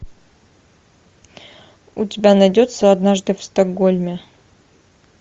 у тебя найдется однажды в стокгольме